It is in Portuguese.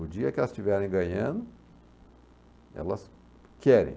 O dia que elas estiverem ganhando, elas querem.